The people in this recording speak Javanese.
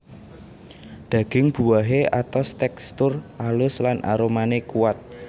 Daging buahé atos tèkstur alus lan aromané kuat